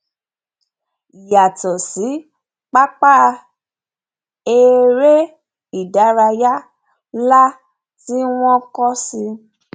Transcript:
yàtọ sí pápá eré ìdárayá nlá tí wọn kọ sí